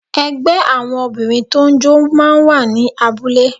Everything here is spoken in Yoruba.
Ẹgbẹ́ àwọn Obìnrin tó ń jó máa ń wà ní abúlé